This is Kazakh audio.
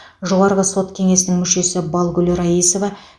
жоғарғы сот кеңесінің мүшесі балгүл раисова